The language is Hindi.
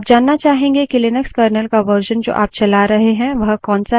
आप जानना चाहेंगे कि लिनक्स kernel का version जो आप चला रहे हैं वह कौनसा है